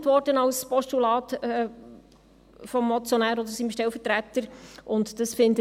Es wurde jetzt vom Motionär, respektive seinem Stellvertreter, ja auch in ein Postulat gewandelt.